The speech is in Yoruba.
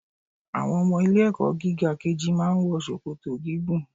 Àwọn ọmọ ilé ẹ̀kọ́ gíga kejì máa ń wọ ṣòkòtò gígùn.